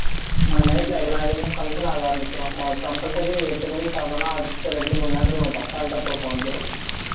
உனக்கு night ல எல்லா இதுவுமே function ஆக ஆரம்பிச்சுரும் உனக்கு compulsory நீ எட்டு மணிக்கு சாப்பிட்டன்னா அடுத்து ரெண்டு மணி நேரத்துல உனக்கு அசால்ட்டா தூக்கம் வந்துரும்